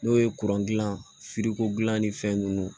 N'o ye kurun gilan dilan ni fɛn ninnu